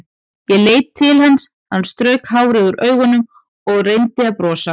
Ég leit til hans, hann strauk hárið úr augunum og reyndi að brosa.